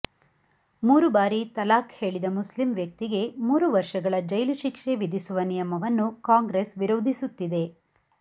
ಮೂರು ಬಾರಿ ತಲಾಖ್ ಹೇಳಿದ ಮುಸ್ಲಿ ವ್ಯಕ್ತಿಗೆ ಮೂರು ವರ್ಷಗಳ ಜೈಲು ಶಿಕ್ಷೆ ವಿಧಿಸುವ ನಿಯಮವನ್ನು ಕಾಂಗ್ರೆಸ್ ವಿರೋಧಿಸುತ್ತಿದೆ